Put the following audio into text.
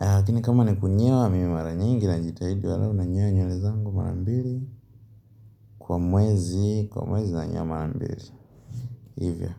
Lakini kama niku nyoa mimi maranyiingi na jitahidi angalau nanyoa nywele zangu marambili Kwa mwezi nanyoa marambiri Hivyo.